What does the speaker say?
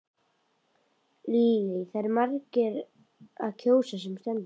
Lillý eru margir að kjósa sem stendur?